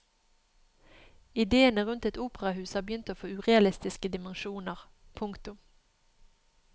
Idéene rundt et operahus har begynt å få urealistiske dimensjoner. punktum